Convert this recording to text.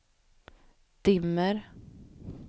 dimmer